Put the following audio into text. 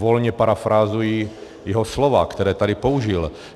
Volně parafrázuji jeho slova, která tady použil.